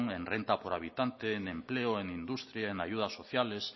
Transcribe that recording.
en renta por habitante en empleo en industria en ayudas sociales